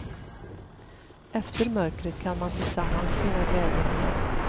Efter mörkret kan man tillsammans finna glädjen igen.